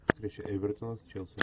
встреча эвертона с челси